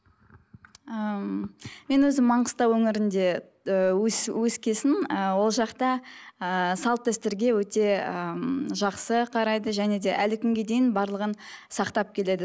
ііі ммм мен өзім маңғыстау өңірінде ііі өскен соң ііі ол жақта ііі салт дәстүрге өте ыыы жақсы қарайды және де әлі күнге дейін барлығын сақтап келеді